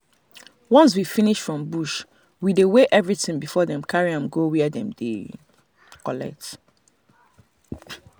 once we finish we finish from bush we dey weigh everything before dem carry am go where dem dey collect.